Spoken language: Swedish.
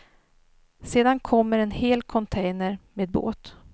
Sedan kommer en hel container med båt.